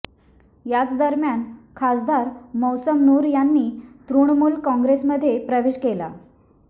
याचदरम्यान खासदार मौसम नूर यांनी तृणमूल कॉंग्रेसमध्ये प्रवेश केला